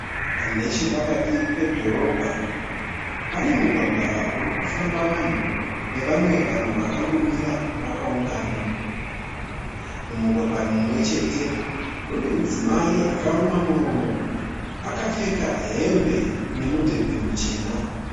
Nechepakati pedhorobha pane mugwagwa urikufamba vanhu nevamwe vanhu vakangomira vakaungana. Mumugwagwa mumwechete kune mudzimai akaruma muromo akapfeka hembe nemudhebhe muchena.